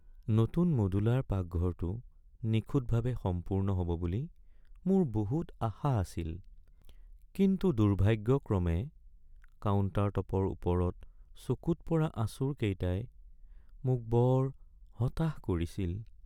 নতুন মডুলাৰ পাকঘৰটো নিখুঁতভাৱে সম্পূৰ্ণ হ’ব বুলি মোৰ বহুত আশা আছিল, কিন্তু দুৰ্ভাগ্যক্ৰমে কাউণ্টাৰটপৰ ওপৰত চকুত পৰা আঁচোৰকেইটাই মোক বৰ হতাশ কৰিছিল।